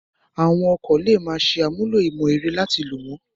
Àwọn ọkọ̀ lè máa ṣe àmúlò ìmọ̀ ẹ̀rọ láti lò wọ́n